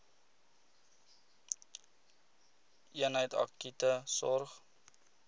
eenheid akute sorg